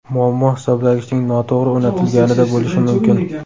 Muammo hisoblagichning noto‘g‘ri o‘rnatilganida bo‘lishi mumkin.